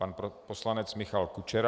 Pan poslanec Michal Kučera.